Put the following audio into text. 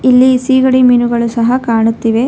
ಇಲ್ಲಿ ಸಿಗಡಿ ಮೀನುಗಳು ಸಹ ಕಾಣುತ್ತಿವೆ.